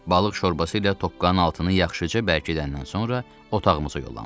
Balıq şorbası ilə tokkanın altını yaxşıca bərkidəndən sonra otağımıza yollandıq.